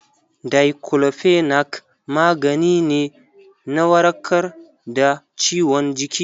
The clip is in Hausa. Daiclofenac magani ne na warkar da ciwon jiki.